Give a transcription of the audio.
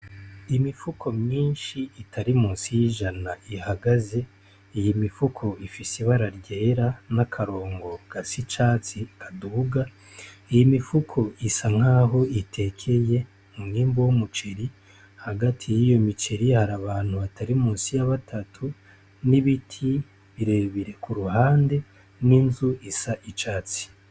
Imifuko myinshi itari musi y'ijana ihagaze iyi imifuko ifise ibararyera n'akarongo ga si icatsi aduga iyi imifuko isa nkaho itekeye munwembu w'umuciri hagati y'iyo miciri hari abantu batari musi yabatatu n'ibiti irebire ku ruhande n'inzu isa icatsi.